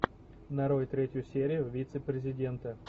нарой третью серию вице президента